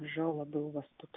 жалобы у вас тут